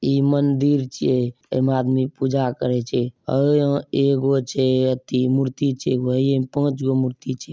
ये मंदिर छे आदमी पूजा करे छे और एगो छे तीनगो मूर्ति छे एमे पाँचगो जो मूर्ति छे।